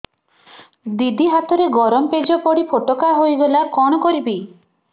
ଦିଦି ହାତରେ ଗରମ ପେଜ ପଡି ଫୋଟକା ହୋଇଗଲା କଣ କରିବି